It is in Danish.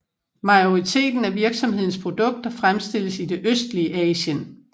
Majoriteten af virksomhedens produkter fremstilles i det østlige Asien